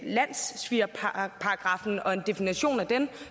landssvigerparagraffen og en definition af den